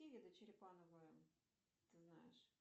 какие виды черепанова ты знаешь